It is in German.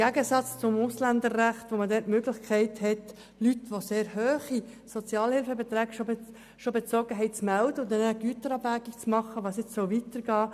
Gemäss Ausländerrecht kann man Leute melden, die bereits sehr hohe Sozialhilfebeträge bezogen haben, und eine Güterabwägung darüber vornehmen, wie es weitergehen soll.